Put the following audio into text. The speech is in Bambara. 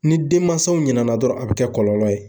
Ni denmansaw ɲina na dɔrɔn a bi kɛ kɔlɔlɔ ye.